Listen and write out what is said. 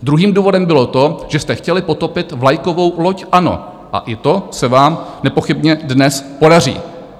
Druhým důvodem bylo to, že jste chtěli potopit vlajkovou loď ANO, a i to se vám nepochybně dnes podaří.